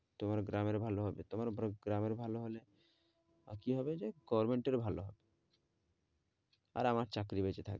তোমার গ্রামের ভালো হবে তোমাদের গ্রামের ভালো হলে কি হবে যে? government ও ভালো আর আমার চাকরি বেঁচে থাকবে।